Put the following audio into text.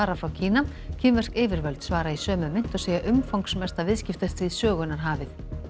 frá Kína kínversk yfirvöld svara í sömu mynt og segja umfangsmesta viðskiptastríð sögunnar hafið